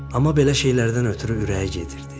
Amma belə şeylərdən ötrü ürəyi gedirdi.